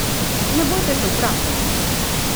Ne bojte se vprašati!